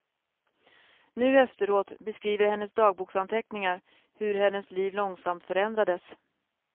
Nu efteråt beskriver hennes dagboksanteckningar hur hennes liv långsamt förändrades.